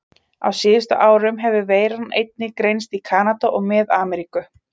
Á síðustu árum hefur veiran einnig greinst í Kanada og Mið-Ameríku.